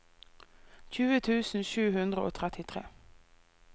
tjue tusen sju hundre og trettitre